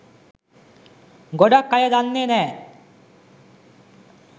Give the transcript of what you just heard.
ගොඩක් අය දන්නෙ නෑ